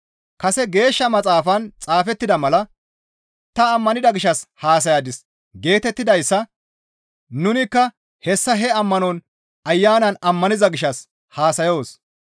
Kase Geeshsha Maxaafan xaafettida mala, «Ta ammanida gishshas haasayadis» geetettidayssa nunikka hessa he ammano Ayanan ammaniza gishshas haasayoos.